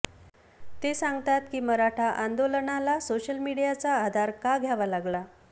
ते सांगतात की मराठा आंदोलनाला सोशल मीडियाचा आधार का घ्यावा लागला